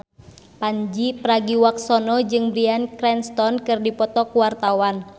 Pandji Pragiwaksono jeung Bryan Cranston keur dipoto ku wartawan